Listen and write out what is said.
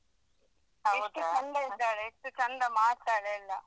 ಎಷ್ಟು ಚಂದ ಇದ್ದಾಳೆ ಎಷ್ಟು ಚಂದ ಮಾಡ್ತಾಳೆ ಎಲ್ಲ.